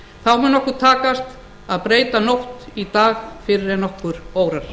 þá mun okkur takast að breyta nótt í dag fyrr en nokkurn órar